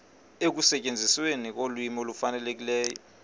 ekusetyenzisweni kolwimi olufanelekileyo